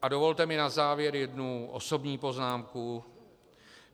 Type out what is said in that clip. A dovolte mi na závěr jednu osobní poznámku.